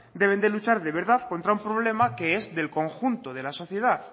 deben de luchar de verdad contra un problema que es del conjunto de la sociedad